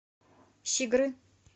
щигры